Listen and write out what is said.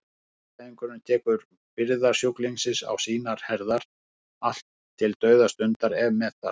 Hjúkrunarfræðingurinn tekur byrðar sjúklingsins á sínar herðar, allt til dauðastundar ef með þarf.